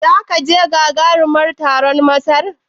Zaka je gagaruman taron Masar?